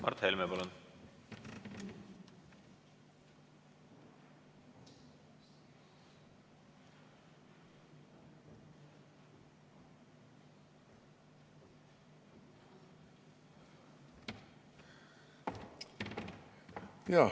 Mart Helme, palun!